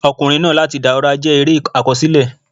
"Ọkùnrin náà láti Dàùra" jẹ́ eré àkọsílẹ̀.